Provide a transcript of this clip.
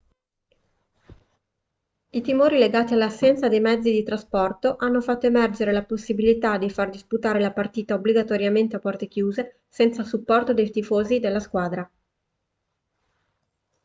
i timori legati all'assenza dei mezzi di trasporto hanno fatto emergere la possibilità di far disputare la partita obbligatoriamente a porte chiuse senza il supporto dei tifosi della squadra